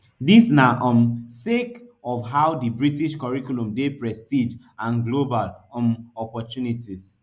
dis na um sake of how di british curriculum dey prestige and global um opportunities